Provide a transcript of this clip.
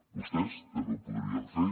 vostès també ho podrien fer